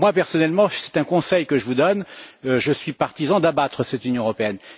Moi, personnellement c'est un conseil que je vous donne je suis partisan d'abattre cette Union européenne.